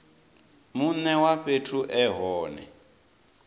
mune wa fhethu e hone